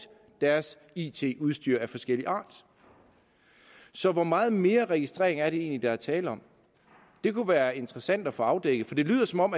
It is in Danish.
deres it udstyr af forskellig art så hvor meget mere registrering er det egentlig der er tale om det kunne være interessant at få afdækket for det lyder som om